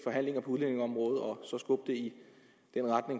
det